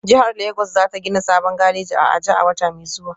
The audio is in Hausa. Jihar Legas za ta gina sabon gareji a Aja a wata mai zuwa